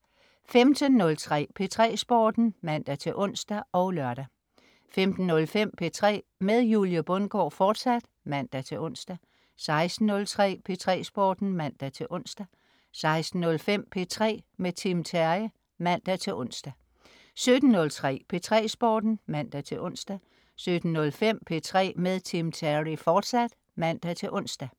15.03 P3 Sporten (man-ons og lør) 15.05 P3 med Julie Bundgaard, fortsat (man-ons) 16.03 P3 Sporten (man-ons) 16.05 P3 med Tim Terry (man-ons) 17.03 P3 Sporten (man-ons) 17.05 P3 med Tim Terry, fortsat (man-ons)